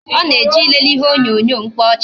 Ọ na-eje ilele ihe onyonyo mkpaọchị